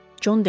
Con dedi.